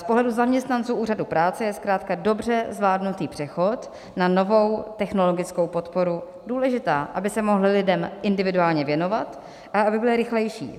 Z pohledu zaměstnanců Úřadu práce je zkrátka dobře zvládnutý přechod na novou technologickou podporu důležitý, aby se mohli lidem individuálně věnovat a aby byli rychlejší.